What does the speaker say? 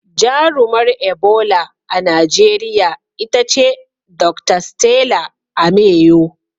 Jarumar Ebola a Najeriya ita ce Dr. 'Stella Ameyo.'